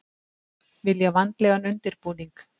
Vilja vandlegan undirbúning